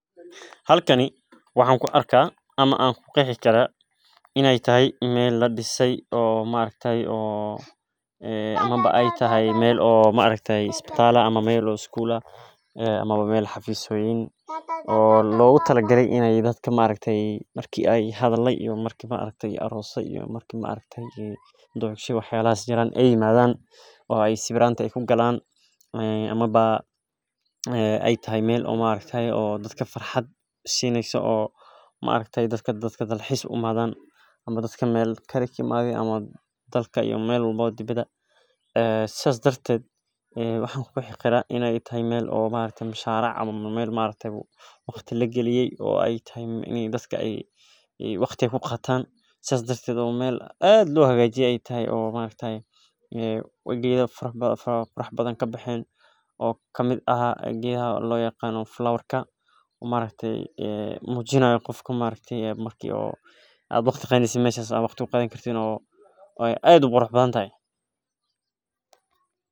Halkani waxan ku arka in ee tahay meel ladise ama meel xafisyo ah ama meel sigul ah oo logu talagale hadhala iska farxaad sineyso oo wax walbo sineyso oo waqti lagaliye sithas daraded oo wax badan kabaxen sithas ayan arki haya makasayi walalow ben man isku shegeyna Ben waxba yana kushekesanin aniga bahalkan hada makasayi sas ayan arki haya.